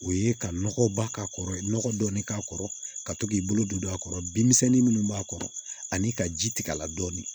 O ye ka nɔgɔba k'a kɔrɔ nɔgɔ dɔɔni k'a kɔrɔ ka to k'i bolo don a kɔrɔ binmisɛnnin minnu b'a kɔrɔ ani ka ji tigɛ a la dɔɔni